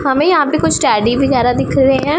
हमें यहां पे कुछ टेडी वगैरा दिख रहे हैं।